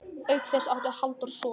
Auk þess átti Halldór son.